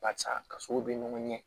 Barisa ka sogo bɛ ɲɔgɔn ɲɛ